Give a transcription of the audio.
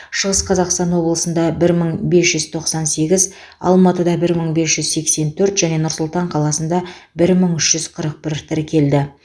шығыс қазақстан облысында бір мың бес жүз тоқсан сегіз алматыда бір мың бес жүз сексен төрт және нұр сұлтан қаласында бір мың үш жүз қырық бір тіркелді